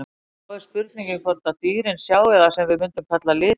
En þá er spurningin hvort dýrin sjái það sem við mundum kalla liti?